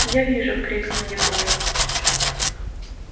я вижу крикнул егор